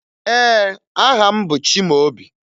Ee, aha m bụ Chimaobi